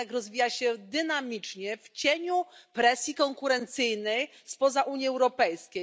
Rynek rozwija się dynamicznie w cieniu presji konkurencyjnej spoza Unii Europejskiej.